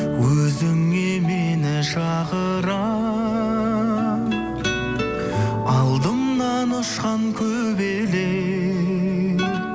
өзіңе мені шақырар алдымнан ұшқан көбелек